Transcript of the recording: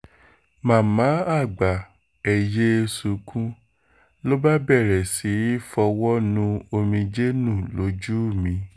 màmá àgbà ẹ̀ yéé sunkún ló bá bẹ̀rẹ̀ sí í fọwọ́ nu omijé nù lójú mi